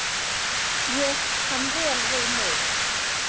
Ég kann vel við mig.